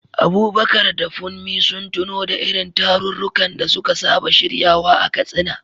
Abubakar da Funmi sun tuno da irin tarurrukan da suka saba shiryawa a Katsina.